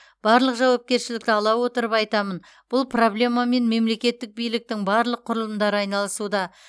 барлық жауапкершілікті ала отырып айтамын бұл проблемамен мемлекеттік биліктің барлық құрылымдары айналысуда